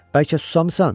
Bəlkə susamısan?